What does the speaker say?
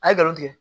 A ye galon tigɛ